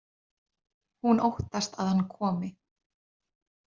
Hún óttast að hann komi.